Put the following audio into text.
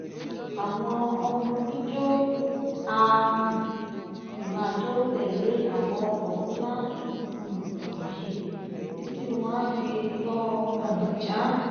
àwọn ọmọ oníjó a um sì máa jó tẹ̀lé àwọn ọkọ̀ nla um wọ̀nyí títí wọ́n á fi tọ ọ̀nà já